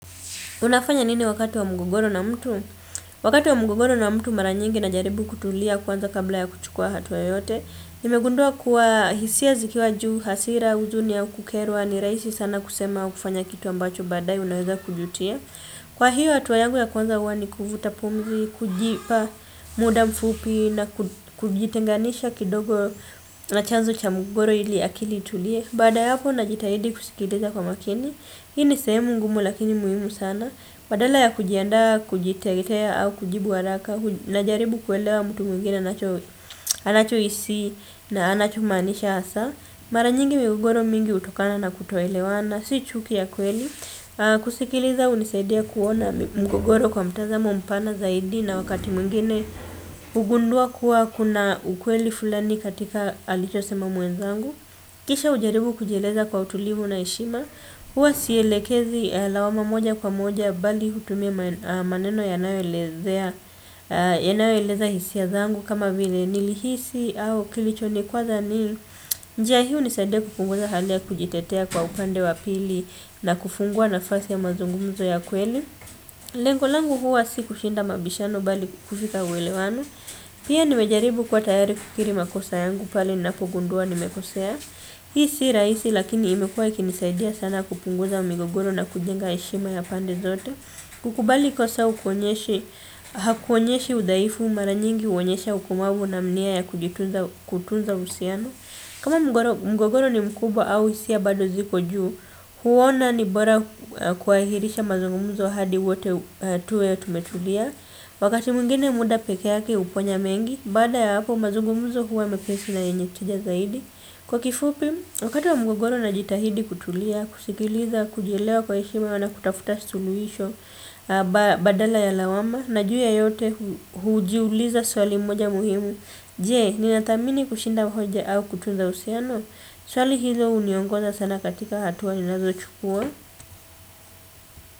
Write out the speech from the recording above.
Unafanya nini wakati wa mgogoro na mtu? Wakati wa mgogoro na mtu mara nyingi najaribu kutulia kwanza kabla ya kuchukua hatua yoyote. Nimegundua kuwa hisia zikiwa juu hasira huzuni au kukerwa ni rahisi sana kusema kufanya kitu ambacho baadaye unaweza kujutia. Kwa hiyo hatua yangu ya kwanza huwa ni kuvuta pumzi kujipa muda mfupi na kujitenganisha kidogo na chanzo cha mgogoro ili akili itulie. Baada ya hapo najitahidi kusikiliza kwa makini. Hii ni sehemu ngumu lakini muhimu sana. Badala ya kujiandaa kujitetea au kujibu haraka najaribu kuelewa mtu mwingine anacho hisi na anacho maanisha hasa. Mara nyingi mgogoro mingi hutokana na kutoelewana si chuki ya kweli. Kusikiliza hunisaidia kuona mgogoro kwa mtazamo mpana zaidi na wakati mwingine hugundua kuwa kuna ukweli fulani katika alicho sema mwenzangu. Kisha hujaribu kujieleza kwa utulivu na heshima. Huwa sielekezi lawama moja kwa moja bali hutumia maneno yanayo eleza hisia zangu kama vile nilihisi au kilicho nikwaza ni. Njia hii hunisaidia kupunguza hali ya kujitetea kwa upande wa pili na kufungua nafasi ya mazungumzo ya kweli. Lengo langu huwa si kushinda mabishano bali kufika uelewano. Pia nimejaribu kuwa tayari kukiri makosa yangu pale ninapo gundua nimekosea. Hii si rahisi lakini imekuwa ikinisaidia sana kupunguza migogoro na kujenga heshima ya pande zote. Kukubali kosa hukuonyeshi hakuonyeshi udhaifu mara nyingi huonyesha ukumavu na nia ya kutunza uhusiano. Kama mgogoro ni mkubwa au hisia bado ziko juu huona ni bora kuhairisha mazungumzo hadi wote tuwe tumetulia. Wakati mwingine muda peke yake huponya mengi baada ya hapo mazungumzo huwa mepesi na yenye tija zaidi. Kwa kifupi, wakati wa mgogoro najitahidi kutulia, kusikiliza, kujielewa kwa heshima na kutafuta suluhisho badala ya lawama, na juu ya yote hujiuliza swali moja muhimu, jie, ninatamini kushinda mhoja au kutunza usiano, swali hizo uniongoza sana katika hatua ninazo chukua.